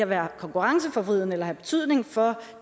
være konkurrenceforvridende eller have betydning for